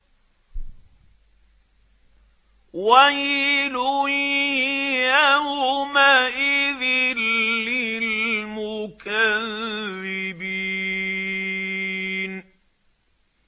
وَيْلٌ يَوْمَئِذٍ لِّلْمُكَذِّبِينَ